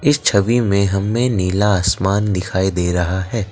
इस छवि में हमें नीला आसमान दिखाई दे रहा है।